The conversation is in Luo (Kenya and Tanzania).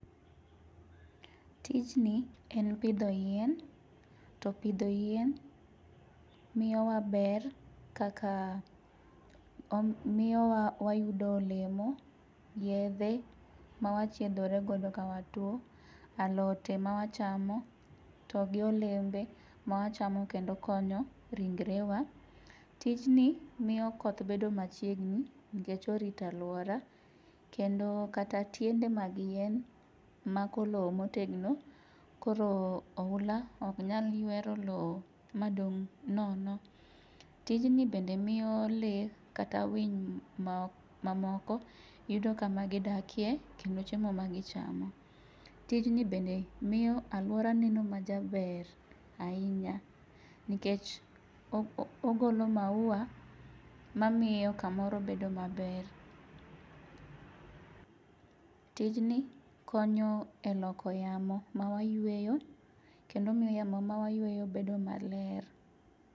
Tijni en pidho yien, to pidho yien miyowa ber kaka ,miyowa wayudo olemo, yedhe ma wachiedhore godo ka watuwo, alote ma wachamo to gi olembe ma wachamo kendo konyo ringrewa. Tijni miyo koth bedo machiegni nikech orito arita, kendo kata tiende mag yien mako lowo motegno, koro ohula ok nyal ywero lowo madong' nono, tijni bende miyo lee kata winy mamoko yudo kamagidakie, kendo chiemo magichamo. Tijni bende miyo alwora neno majaber ahinya, nikech ogolo maua mamiyo kamoro bedo maber. Tijni konyo e loko yamo mawayweyo, kendo miyo yamo ma wayweyo bedo maler.